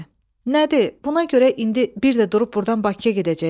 Nədir, buna görə indi bir də durub burdan Bakıya gedəcəksən?